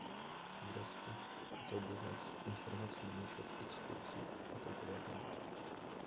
здравствуйте хотел бы узнать информацию на счет экскурсий от этого отеля